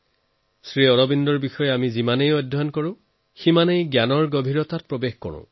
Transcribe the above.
শ্ৰী অৰবিন্দৰ বিষয়ে আমি যিমানেই পঢ়ো সিমানেই গভীৰতা আমি পাই গৈ থাকো